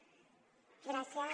gràcies